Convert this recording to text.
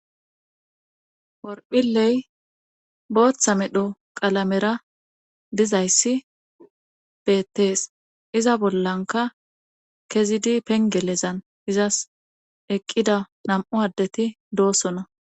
worphiley booththa medho qalamera dizayssi beettees iza bollanka kezidi pengelezan izas eqqida nam7u addeti doosona